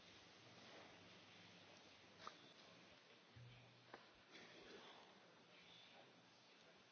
Herr Kollege, es tut mir leid, ich habe Ihren Wortbeitrag nur etwas verspätet in der Übersetzung hoffentlich jetzt richtig verstanden.